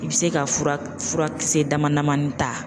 I bɛ se ka fura fura kisɛ dama damanin ta.